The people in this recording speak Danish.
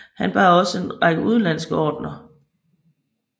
Han bar også en række udenlandske ordener